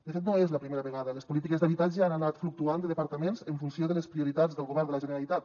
de fet no és la primera vegada les polítiques d’habitatge han anat fluctuant de departament en funció de les prioritats del govern de la generalitat